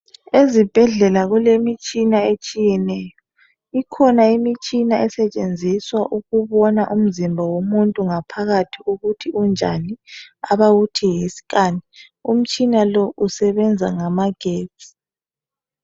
ezibhedlela kulemitshina etshiyeneyo ikhona imitshina esetshenziswa ukubona umzimba womuntu ngaphakathi ukuthi unjani abawuthi yi scan umtshina lo usebenza ngamagetsi